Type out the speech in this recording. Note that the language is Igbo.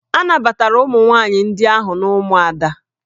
A nabatara ụmụ nwaanyị ndị ahụ n'ụmụada